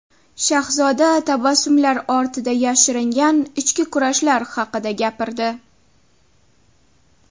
Shahzoda tabassumlar ortida yashiringan ichki kurashlar haqida gapirdi.